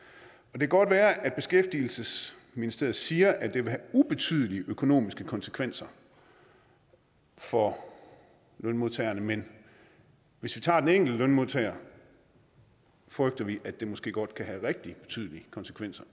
det kan godt være at beskæftigelsesministeriet siger at det vil have ubetydelige økonomiske konsekvenser for lønmodtagerne men hvis vi tager den enkelte lønmodtager frygter vi at det måske godt kan have rigtig betydelige konsekvenser